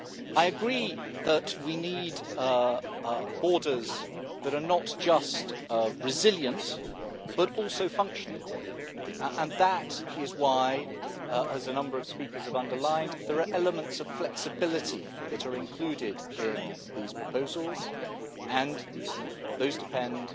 I agree that we need borders that are not just resilient but also functioning and that is why, as a number of speakers have underlined, there are elements of flexibility that are included in these proposals and those depend